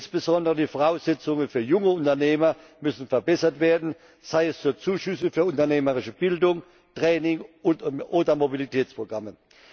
Insbesondere die Voraussetzungen für junge Unternehmer müssen verbessert werden, durch Zuschüsse für unternehmerische Bildung, Training oder Mobilitätsprogramme.